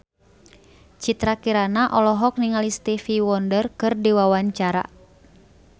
Citra Kirana olohok ningali Stevie Wonder keur diwawancara